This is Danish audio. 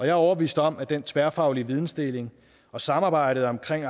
er overbevist om at den tværfaglige vidensdeling og samarbejdet om